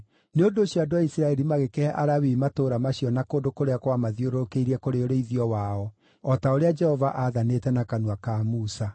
Nĩ ũndũ ũcio andũ a Isiraeli magĩkĩhe Alawii matũũra macio na kũndũ kũrĩa kwamathiũrũrũkĩirie kũrĩ ũrĩithio wao o ta ũrĩa Jehova aathanĩte na kanua ka Musa.